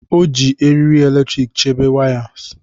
O ji eriri eletrik chebe wires.